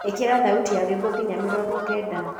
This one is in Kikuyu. ĩkĩra thaũtĩ ya rwĩmbo nginya mĩrongo kenda